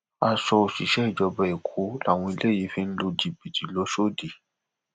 aṣọ òṣìṣẹ ìjọba èkó làwọn eléyìí fi ń lu jìbìtì l'osódì